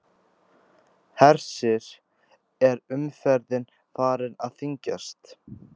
Hersir, er umferðin farin að þyngjast?